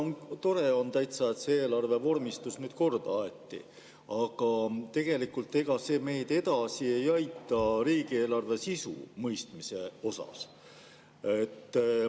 No tore on täitsa, et see eelarve vormistus nüüd korda aeti, aga tegelikult ega see meid edasi ei aita riigieelarve sisu mõistmisel.